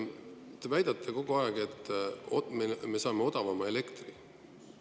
Te väidate kogu aeg, et me saame odavama elektri.